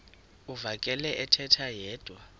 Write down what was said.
uvakele ethetha yedwa